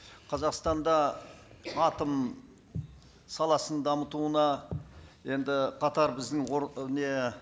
қазақстанда атом саласын дамытуына енді қатар біздің не